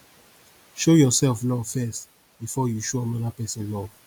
show yourself love first before you show another persin love